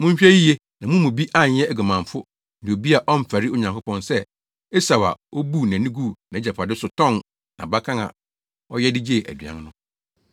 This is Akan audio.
Monhwɛ yiye na mo mu bi anyɛ oguamanfo ne obi a ɔmfɛre Onyankopɔn sɛ Esau a obuu nʼani guu nʼagyapade so tɔn nʼabakan a ɔyɛ de gyee aduan no.